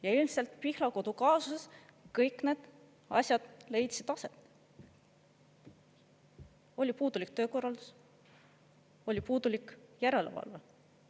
Ja ilmselt Pihlakodu kaasuses kõik need asjad leidsid aset: oli puudulik töökorraldus, oli puudulik järelevalve.